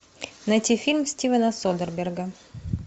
найти фильм стивена содерберга